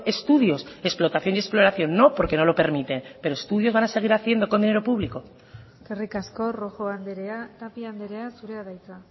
estudios explotación y exploración no porque no lo permite pero estudios van a seguir haciendo con dinero público eskerrik asko rojo andrea tapia andrea zurea da hitza